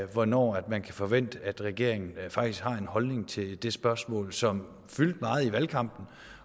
hvornår man kan forvente at regeringen faktisk har en holdning til det spørgsmål som fyldte meget i valgkampen